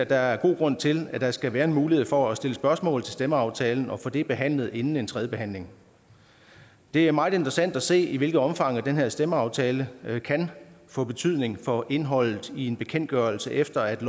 der er god grund til at der skal være en mulighed for at stille spørgsmål til stemmeaftalen og få det behandlet inden en tredje behandling det er meget interessant at se i hvilket omfang den her stemmeaftale kan få betydning for indholdet i en bekendtgørelse efter at